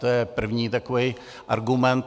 To je první takový argument.